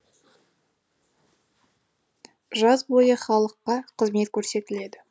жаз бойы халыққа қызмет көрсетіледі